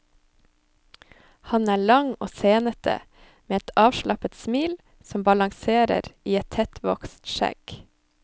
Han er lang og senete, med et avslappet smil som balanserer i et tettvokst skjegg.